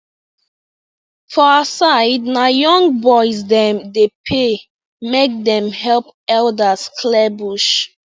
for our side na young boys dem dey pay make dem help elders clear bush